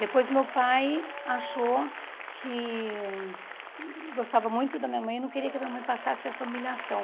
Depois meu pai achou que gostava muito da minha mãe e não queria que a minha mãe passasse essa humilhação.